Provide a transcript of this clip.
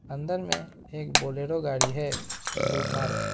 अंदर में एक बोलेरो गाड़ी है जो पार्क है।